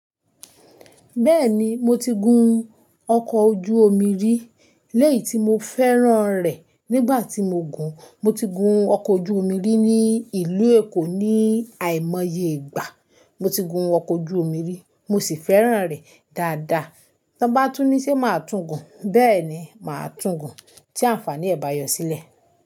Bẹ́ẹ̀ni, mo ti gun ọkọ̀ ojú omi rí. Lẹ́yìi tí mo fẹ́ràn rẹ̀ nígbà tí mo gùn. Mo ti gun ọkọ̀ ojú omi rí ní ìlú Èkó ní àìmoye ìgbà. Mo ti gun ọkọ̀ ojú omi rí, mo sì fẹ́ràn rẹ̀ dáadáa. Tí wọ́n bá túnní ṣé màá tún gùn. Bẹ́ẹ̀ ni, màá tún gùn tí àǹfààníẹ̀ bá yọ sílẹ̀.